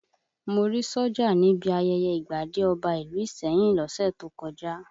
Mo rí sójà níbi ayẹyẹ ìgbadé ọba ìlú Ìsẹ́yìn lọ́sẹ̀ tó kọjá